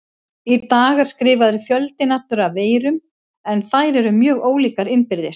Í dag er skrifaður fjöldinn allur af veirum en þær eru mjög ólíkar innbyrðis.